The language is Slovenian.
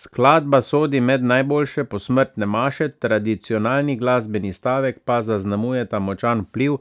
Skladba sodi med najboljše posmrtne maše, tradicionalni glasbeni stavek pa zaznamujeta močan vpliv